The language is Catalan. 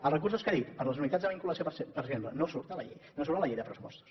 els recursos que ha dit per a les unitats de vinculació per exemple no surten a la llei no surten a la llei de pressupostos